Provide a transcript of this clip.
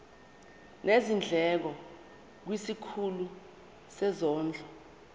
nezindleko kwisikhulu sezondlo